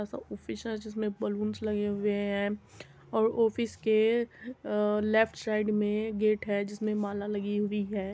आसा ऑफिस है जिसमें बलून्स लगे हुए हैं और ऑफिस के अ लेफ्ट साइड में गेट है जिसमें माला लगी हुई है।